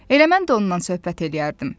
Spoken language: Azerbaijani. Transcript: Elə mən də ondan söhbət eləyərdim.